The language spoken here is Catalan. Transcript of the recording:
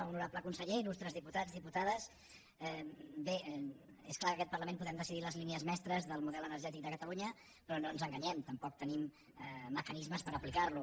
honorable conseller il·lustres diputats diputades bé és clar que en aquest parlament podem decidir les línies mestres del model energètic de catalunya però no ens enganyem tampoc tenim mecanismes per aplicar lo